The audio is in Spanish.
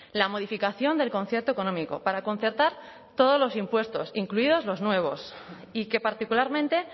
la modificación del concierto económico para concertar todos los impuestos incluidos los nuevos y que particularmente